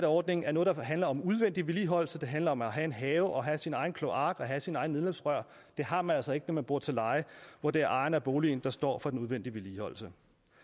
ordningen er noget der handler om udvendig vedligeholdelse det handler om at have en have og have sin egen kloak og have sine egne nedløbsrør det har man altså ikke når man bor til leje hvor det er ejeren af boligen der står for den udvendige vedligeholdelse